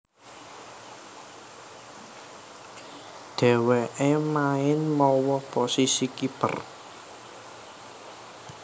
Dhèwèké main mawa posisi kiper